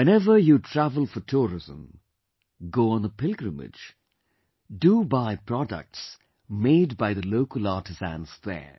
Whenever you travel for tourism; go on a pilgrimage, do buy products made by the local artisans there